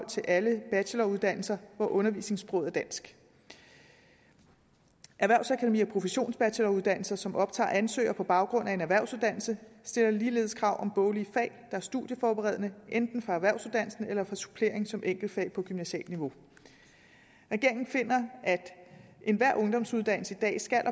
til alle bacheloruddannelser hvor undervisningssproget er dansk erhvervsakademi og professionsbacheloruddannelser som optager ansøgere på baggrund af en erhvervsuddannelse stiller ligeledes krav om boglige fag er studieforberedende enten fra erhvervsuddannelsen eller fra supplering som enkeltfag på gymnasialt niveau regeringen finder at enhver ungdomsuddannelse i dag skal og